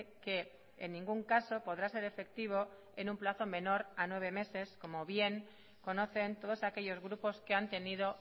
que en ningún caso podrá ser efectivo en un plazo menor a nueve meses como bien conocen todos aquellos grupos que han tenido